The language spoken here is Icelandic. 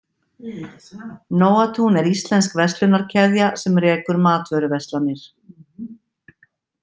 Nóatún er íslensk verslunarkeðja sem rekur matvöruverslanir.